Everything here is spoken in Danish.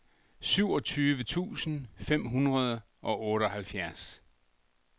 syvogtyve tusind fem hundrede og otteoghalvfjerds